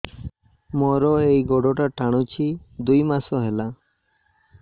ମୋର ଏଇ ଗୋଡ଼ଟା ଟାଣୁଛି ଦୁଇ ମାସ ହେଲା